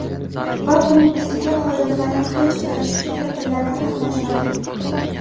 Va, buning ustiga, xodimlardan hech biri ushbu tadbirlarda qatnashmadi”.